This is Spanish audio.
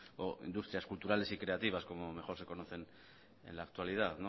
o industrias culturales y creativas como mejor se conocen en la actualidad